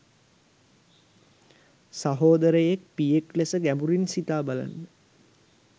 සහෝදරයෙක් පියෙක් ලෙස ගැඹුරින් සිතා බලන්න.